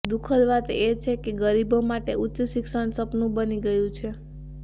દુઃખદ વાત એ છે કે ગરીબો માટે ઉચ્ચ શિક્ષણ સપનુ બની ગયું છે